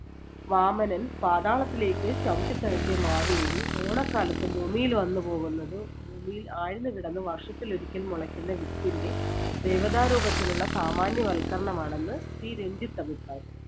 വാമനൻ പാതാളത്തിലേക്ക് ചവിട്ടിത്താഴ്ത്തിയ മാവേലി ഓണക്കാലത്ത് ഭൂമിയിൽ വന്ന് പോകുന്നത് ഭൂമിയിൽ ആഴ്ന്ന് കിടന്ന് വർഷത്തിലൊരിക്കൽ മുളക്കുന്ന വിത്തിന്‍റെ ദേവതാരൂപത്തിലുള്ള സാമാന്യവൽക്കരണമാണെന്ന് C രഞ്ജിത്ത് അഭിപ്രായപ്പെടുന്നു.